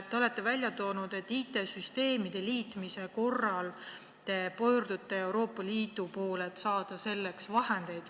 Te olete välja toonud, et IT-süsteemide liitmise korral te pöördute Euroopa Liidu poole, et saada selleks vahendeid.